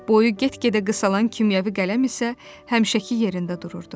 Boyu get-gedə qısalan kimyəvi qələm isə həmişəki yerində dururdu.